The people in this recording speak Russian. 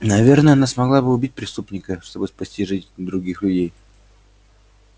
наверное она смогла бы убить преступника чтобы спасти жизнь других людей